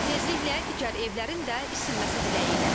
Tezliklə digər evlərin də isinməsi diləyi ilə.